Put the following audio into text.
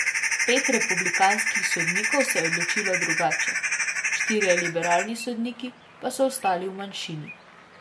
Pet republikanskih sodnikov se je odločilo drugače, štirje liberalni sodniki pa so ostali v manjšini.